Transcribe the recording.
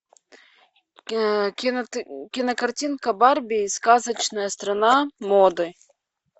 кинокартинка барби и сказочная страна моды